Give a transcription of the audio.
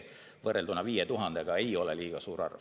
Võrrelduna 5000-ga ei ole see väga suur arv.